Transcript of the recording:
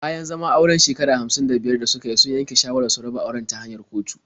Bayan zaman auren shekara hamsin da biyar da suka yi, sun yanke shawarar su raba auren ta hanyar kotu.